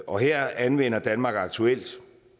og her anvender danmark aktuelt